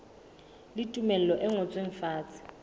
le tumello e ngotsweng fatshe